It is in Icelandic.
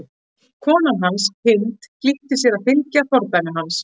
Kona hans, Hind, flýtir sér að fylgja fordæmi hans.